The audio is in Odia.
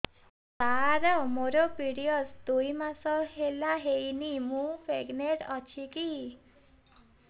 ସାର ମୋର ପିରୀଅଡ଼ସ ଦୁଇ ମାସ ହେଲା ହେଇନି ମୁ ପ୍ରେଗନାଂଟ ଅଛି କି